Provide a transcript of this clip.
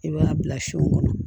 I b'a bila son kɔnɔ